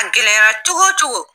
A gɛlɛyara cogo o cogo.